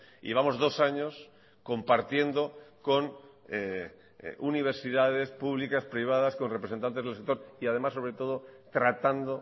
y vamos dos años compartiendo con universidades públicas privadas con representantes del sector y además sobre todo tratando